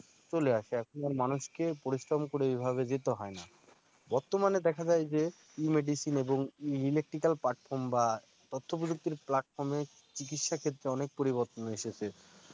চলে আসে এখন আর মানুষকে পরিশ্রম করে ঐভাবে যেতে হয়ে না। বর্তমানে দেখা যায় যে E medicine এবং e-electric platform বা তথ্য প্রযুক্তির platform এ চিকিৎসা ক্ষেত্রে অনেক পরিবর্তন এসেছে